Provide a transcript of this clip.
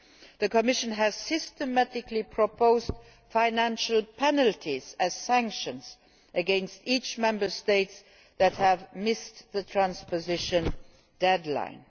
The Commission has systematically proposed financial penalties as sanctions against each Member State that has missed the transposition deadline.